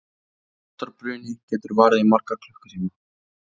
þess háttar bruni getur varað í marga klukkutíma